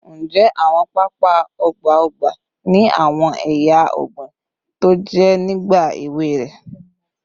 Njẹ awọn papa ọgba ọgba ni awọn eya ọgbin toje nigba ewe rẹ?